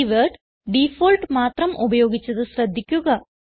keyword default മാത്രം ഉപയോഗിച്ചത് ശ്രദ്ധിക്കുക